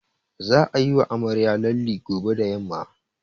Za'a yiwa amaryar lalle gobe da yamma.